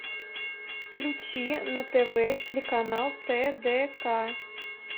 включи на тв телеканал тдк